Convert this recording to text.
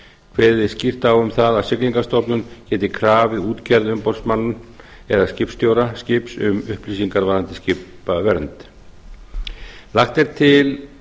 kveðið er skýrt á um það að siglingastofnun geti krafið útgerð umboðsmann eða skipstjóra skips um upplýsingar varðandi skipavernd lagt er til